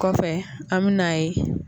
Kɔfɛ an bɛ n'a ye